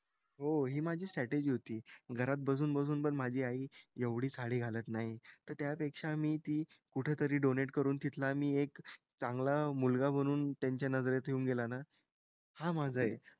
हो हि माझी स्ट्रॅटेजी होती. घरात बसून बसून पण माझी आई एवढी साडी घालत नाही. तर त्यापेक्षा मी ती कुठेतरी डोनेट करून तिथला मी एक चांगला मुलगा बनून त्यांच्या नजरेत येऊन गेला ना. हा माझा एक,